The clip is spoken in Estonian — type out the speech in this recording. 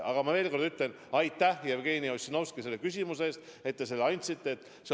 Aga ma veel kord ütlen: aitäh, Jevgeni Ossinovski, selle küsimuse eest, et te selle esitasite.